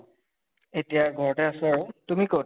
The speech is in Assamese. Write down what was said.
এতিয়া ঘৰতে আছো আৰু, তুমি কʼত?